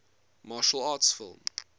martial arts film